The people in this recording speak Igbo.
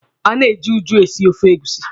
A na-eji eju esi ofe egusi.